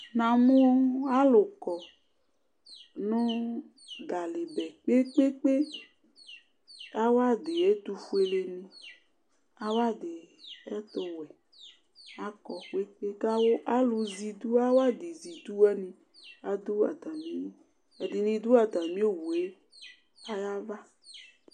Namu alu kɔ nu ɖalɩ ɓɛ kpe kpe kpe Awaɖɩ ɛtu foele nɩ, awaɖɩ ɛtu wɛ, Akɔ kpe kpe kawu kalu zɛ ɩɖu awaɖɩ zɛ ɩɖu wanɩ ɖu atamɩlɩ, aɖu atamɩ, ɛɖɩnɩ ɖu atamɩ owue lɩ ayava